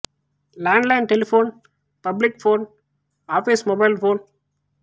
ండ్ line telephone public phone office mobile phone